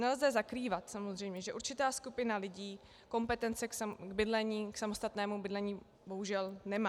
Nelze zakrývat samozřejmě, že určitá skupina lidí kompetence k samostatnému bydlení bohužel nemá.